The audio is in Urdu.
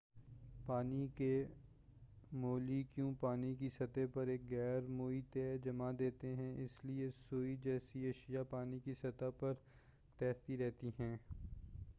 پانی کے مولی کیول پانی کی سطح پر ایک غیر مرئی تہہ جما دیتے ہیں اسی لئے سوئی جیسی اشیاء پانی کی سطح پر تیرتی رہتی ہیں